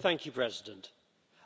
Mr President,